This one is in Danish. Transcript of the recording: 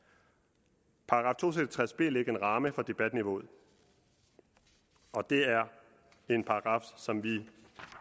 tres b lægger en ramme for debatniveauet og det er en paragraf som vi